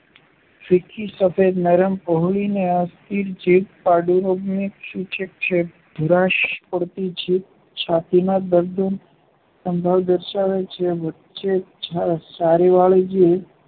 ફીકી, સફેદ, નરમ, પહોળી ને અસ્થિર જીભ પાંડુરોગની સૂચક છે. ભૂરાશ પડતી જીભ છાતીનાં દરદોનો સંભવ દર્શાવે છે. વચ્ચે છારીવાળી